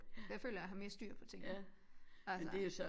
For jeg føler at jeg har mere styr på tingene altså